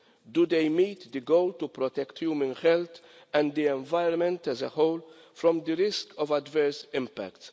Do they meet the goal of protecting human health and the environment as a whole from the risk of adverse impacts?